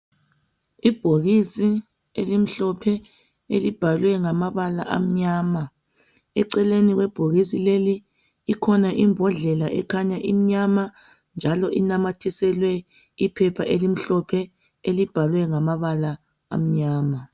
Ibhokisi elimhlophe elibhalwe ngamabala amnyama, eceleni kwebhokisi leli ikhona imbodlela ekhanya imnyama njalo linamathiselwe iphepha elimhlophe elibhalwe ngamabala amnyama.